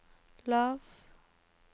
lav